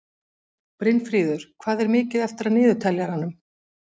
Brynfríður, hvað er mikið eftir af niðurteljaranum?